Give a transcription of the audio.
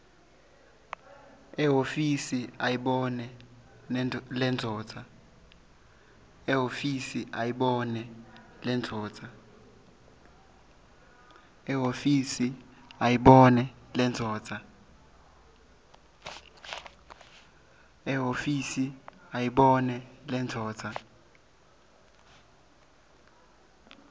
ehhovisi ayibone lendvodza